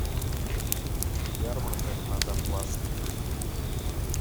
ярмарка на донбасской